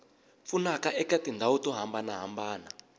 pfunaka eka tindhawu to hambanahambana